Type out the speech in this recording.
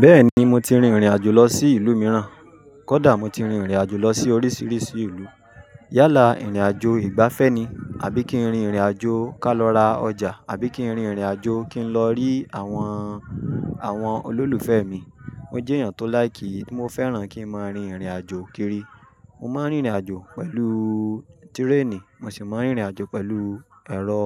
Bẹ́ẹ̀ni, mo ti rin ìrìnàjò lọ sí ìlú mìíràn. Kódà mo ti rin ìrìnàjò lọ sí oríṣìíríṣìí ìlú. Yálà ìrìnàjò ìgbafẹ́ ni; àbí kí n rin ìrìnàjò ká lọ ra ọjà, àbí kí n rin ìrìnàjò kí n lọ rí àwọn, àwọn olólùfẹ́ mi. Mo jẹ́ èèyàn tó láìkí. Mo fẹ́ràn kí n máa rin ìrìnàjò kiri. Mo máa ń rìn ìrìnàjò pẹ̀lú tírénì, mo sì máa ń rìn ìrìnàjò pẹ̀lú ẹ̀rọ,